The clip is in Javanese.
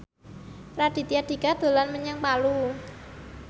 Raditya Dika dolan menyang Palu